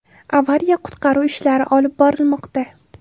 Avariya-qutqaruv ishlari olib borilmoqda.